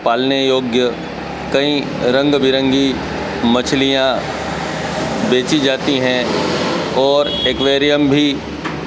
पालने योग्य कई रंग बिरंगी मछलियां बेची जाती हैं और एक्वेरियम भी--